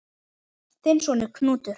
Þinn sonur, Knútur.